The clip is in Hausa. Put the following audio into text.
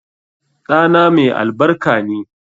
Ɗana mai albarka ne